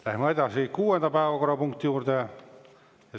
Läheme edasi kuuenda päevakorrapunkti juurde.